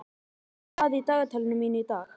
Henrika, hvað er í dagatalinu mínu í dag?